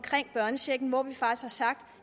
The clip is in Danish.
børnechecken hvor vi faktisk har sagt